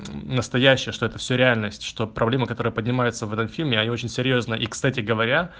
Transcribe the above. настоящая что это все реальность что проблема которая поднимается в этом фильме очень серьёзно и кстати говоря